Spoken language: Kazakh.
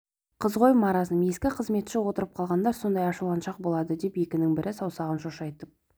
қыз ғой маразм ескі қызметші отырып қалғандар сондай ашуланшақ болады деп екінің бірі саусағын шошайтып